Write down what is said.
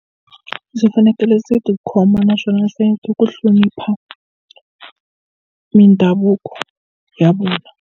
Ndzi fanekele ndzi tikhoma naswona hleketa ku hlonipha mindhavuko ya vona.